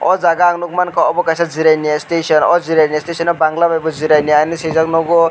a jaga ang nogmangka obo kaisa jirania station o jirania station o bangla bai bo jirania hinui sijakh nogo.